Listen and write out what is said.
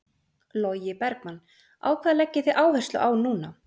Logi Bergmann: Á hvað leggið þið áherslu á núna?